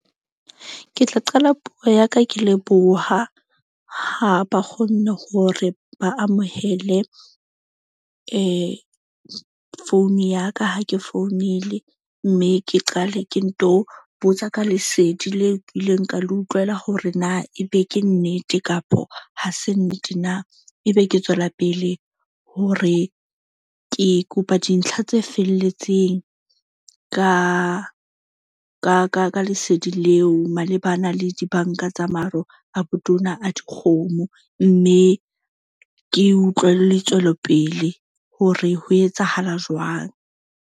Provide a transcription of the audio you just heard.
Ke tla qala puo ya ka, ke leboha ha ba kgone hore ba amohele phone ya ka ha ke founile. Mme ke qale ke nto botsa ka lesedi leo ke ileng ka le utlwela hore na ebe ke nnete kapo ha se nnete na. Ebe ke tswela pele hore ke kopa dintlha tse felletseng ka lesedi leo, malebana le di-bank-a tsa maro a botona a dikgomo. Mme ke utlwe le tswelopele hore ho etsahala jwang.